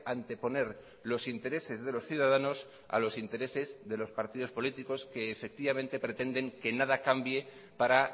anteponer los intereses de los ciudadanos a los intereses de los partidos políticos que efectivamente pretenden que nada cambie para